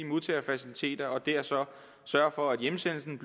modtagefaciliteter og der sørge for at hjemsendelsen